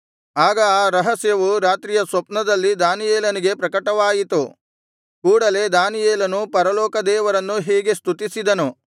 ಆಗ ಆ ರಹಸ್ಯವು ರಾತ್ರಿಯ ಸ್ವಪ್ನದಲ್ಲಿ ದಾನಿಯೇಲನಿಗೆ ಪ್ರಕಟವಾಯಿತು ಕೂಡಲೆ ದಾನಿಯೇಲನು ಪರಲೋಕ ದೇವರನ್ನು ಹೀಗೆ ಸ್ತುತಿಸಿದನು